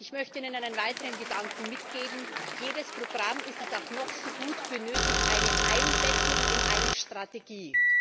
Ich möchte Ihnen einen weiteren Gedanken mitgeben Jedes Programm, sei es auch noch so gut, benötigt eine Einbettung in eine Strategie.